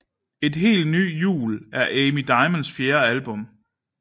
En helt ny jul er Amy Diamonds fjerde album